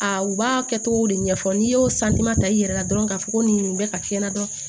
A u b'a kɛ cogo de ɲɛfɔ n'i y'o ta i yɛrɛ la dɔrɔn k'a fɔ ko nin bɛ ka fiɲɛ na dɔrɔn